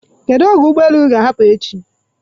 Kedu oge ụgbọ elu gị ga-ahapụ echi?